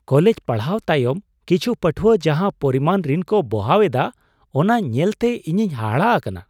College ᱯᱟᱲᱦᱟᱣ ᱛᱟᱭᱚᱢ ᱠᱤᱪᱷᱩ ᱯᱟᱹᱴᱷᱣᱟᱹ ᱡᱟᱦᱟᱸ ᱯᱚᱨᱤᱢᱟᱱ ᱨᱤᱱ ᱠᱚ ᱵᱚᱦᱟᱣ ᱮᱫᱟ ᱚᱱᱟ ᱧᱮᱞᱛᱮ ᱤᱧᱤᱧ ᱦᱟᱦᱟᱲᱟᱜ ᱟᱠᱟᱱᱟ ᱾